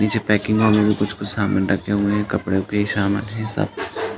नीचे पेकिंग में भी कुछ-कुछ सामान रखे हुए हैं। कपड़ो के सामान हैं सब।